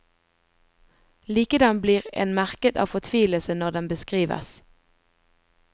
Likedan blir en merket av fortvilelsen når den beskrives.